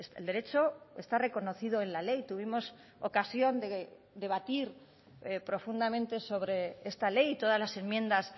el derecho está reconocido en la ley tuvimos ocasión de debatir profundamente sobre esta ley y todas las enmiendas